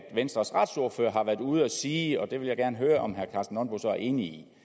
venstres retsordfører har været ude at sige og det vil jeg gerne høre om herre karsten nonbo så er enig